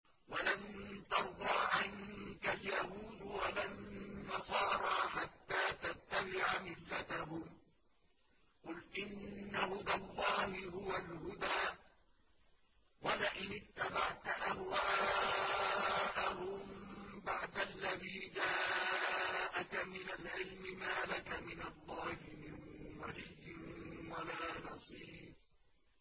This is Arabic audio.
وَلَن تَرْضَىٰ عَنكَ الْيَهُودُ وَلَا النَّصَارَىٰ حَتَّىٰ تَتَّبِعَ مِلَّتَهُمْ ۗ قُلْ إِنَّ هُدَى اللَّهِ هُوَ الْهُدَىٰ ۗ وَلَئِنِ اتَّبَعْتَ أَهْوَاءَهُم بَعْدَ الَّذِي جَاءَكَ مِنَ الْعِلْمِ ۙ مَا لَكَ مِنَ اللَّهِ مِن وَلِيٍّ وَلَا نَصِيرٍ